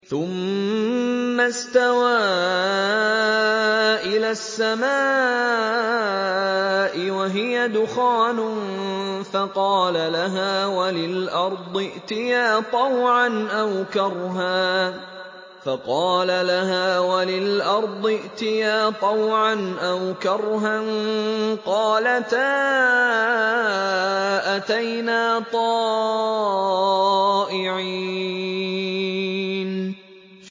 ثُمَّ اسْتَوَىٰ إِلَى السَّمَاءِ وَهِيَ دُخَانٌ فَقَالَ لَهَا وَلِلْأَرْضِ ائْتِيَا طَوْعًا أَوْ كَرْهًا قَالَتَا أَتَيْنَا طَائِعِينَ